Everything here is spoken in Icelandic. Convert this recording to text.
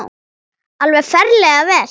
Alveg ferlega vel.